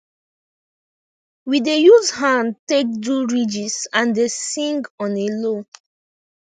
we dey use hand take do ridges and dey sing on a low